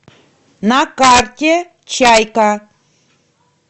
на карте чайка